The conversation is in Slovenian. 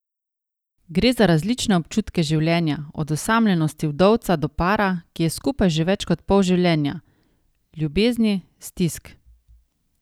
Gre za različne občutke življenja, od osamljenosti vdovca do para, ki je skupaj že več pol življenja, ljubezni, stisk ...